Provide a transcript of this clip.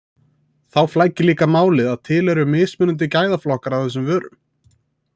Þá flækir líka málið að til eru mismunandi gæðaflokkar af þessum vörum.